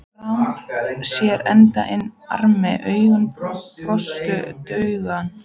Þarm sér enda inn armi augum brostnum drauga.